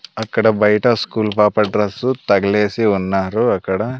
అక్కడ బయట స్కూల్ పాప డ్రస్సు తగలేసి ఉన్నారు అక్కడ--